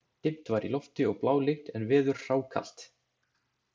Dimt var í lofti og blálygnt en veður hrákalt.